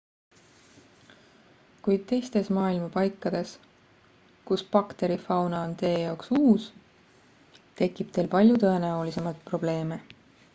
kuid teistes maailma paikades kus bakterifauna on teie jaoks uus tekib teil palju tõenäolisemalt probleeme